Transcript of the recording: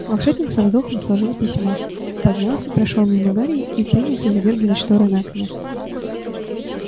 волшебник со вздохом сложил письмо поднялся прошёл мимо гарри и принялся задёргивать шторы на окне